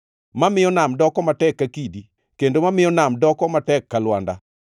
mamiyo nam doko matek ka kidi, kendo mamiyo nam doko matek ka lwanda?